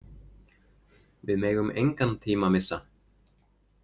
Við megum engan tíma missa.